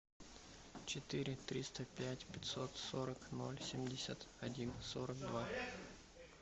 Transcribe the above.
четыре триста пять пятьсот сорок ноль семьдесят один сорок два